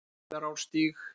Rauðarárstíg